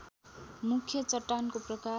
मुख्य चट्टानको प्रकार